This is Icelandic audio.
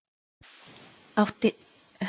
Frelsi fjölmiðla minnkar